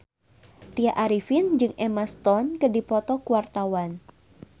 Tya Arifin jeung Emma Stone keur dipoto ku wartawan